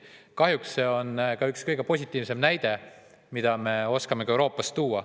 Kahjuks see on üks kõige positiivsem näide, mida me oskame Euroopast tuua.